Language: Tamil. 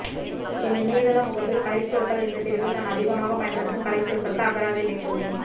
என் இணையதள முகப்பில் கலைச்சொற்கள் என்ற பிரிவில் நான் அதிகமாகப் பயன்படுத்தும் கலைச்சொற்களுக்கு அகராதி இணைத்துள்ளேன்